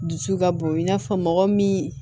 Dusu ka bon i n'a fɔ mɔgɔ min